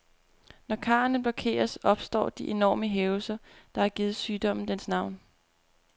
Når karrene blokeres, opstår de enorme hævelser, der har givet sygdommen dens navn.